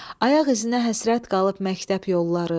Ayaq izinə həsrət qalıb məktəb yolları.